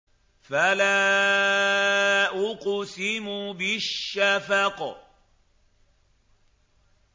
فَلَا أُقْسِمُ بِالشَّفَقِ